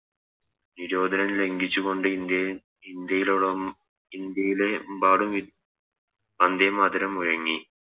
നിരോധനം ലംഘിച്ചുകൊണ്ട് ഇന്ത്യയിൽ ഇന്ത്യയിലോടം ഇന്ത്യയിലെമ്പാടും വന്ദേമാതരം മുഴങ്ങി